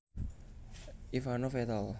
Ivanov et al